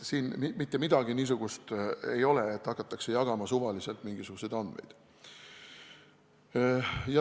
Mitte midagi niisugust siin ei ole, et hakatakse jagama mingisuguseid suvalisi andmeid.